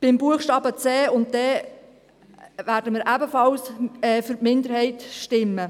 Bei den Buchstaben c und d werden wir ebenfalls für die Minderheit stimmen.